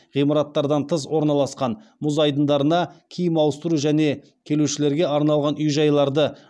ғимараттардан тыс орналасқан мұз айдындарына киім ауыстыру және келушілерге арналған үй жайларды